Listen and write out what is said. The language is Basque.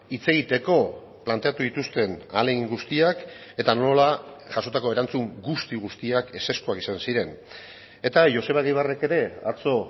hitz egiteko planteatu dituzten ahalegin guztiak eta nola jasotako erantzun guzti guztiak ezezkoak izan ziren eta joseba egibarrek ere atzo